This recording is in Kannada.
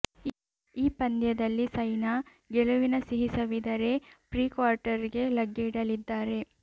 ಈ ಪಂದ್ಯದಲ್ಲಿ ಸೈನಾ ಗೆಲುವಿನ ಸಿಹಿ ಸವಿದರೆ ಪ್ರೀ ಕ್ವಾರ್ಟರ್ಗೆ ಲಗ್ಗೆ ಇಡಲಿದ್ದಾರೆ